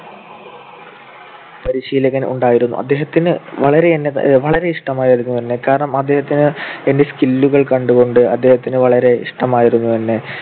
പരിശീലകൻ ഉണ്ടായിരുന്നു. അദ്ദേഹത്തിന് വളരെ എന്നെ വളരെ ഇഷ്ടമായിരുന്നു എന്നെ. കാരണം അദ്ദേഹത്തിന് എന്റെ skill കൾ കണ്ടുകൊണ്ട് അദ്ദേഹത്തിന് വളരെ ഇഷ്ടമായിരുന്നു എന്നെ.